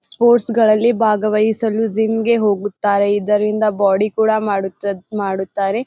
Sports ಗಳ್ಳಲ್ಲಿ ಭಾಗವಹಿಸಲು ಜಿಮ್ಗೆ ಹೋಗುತ್ತಾರೆ ಇದರಿಂದ ಬಾಡಿ ಕೂಡ ಮಾಡುತ್ ಮಾಡುತ್ತಾರೆ.